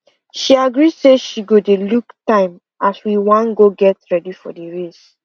she agree say she go dey look time as we wan go get ready for the race